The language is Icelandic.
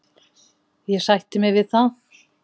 Ég sætti mig við það.